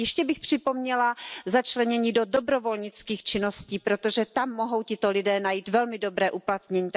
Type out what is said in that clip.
A ještě bych připomněla začlenění do dobrovolnických činností, protože tam mohou tito lidé najít velmi dobré uplatnění.